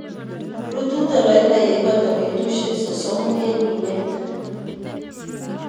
Rutu toloita yeibata betusiek sosomu en minet.